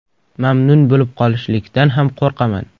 Mamnun bo‘lib qolishlikdan ham qo‘rqaman.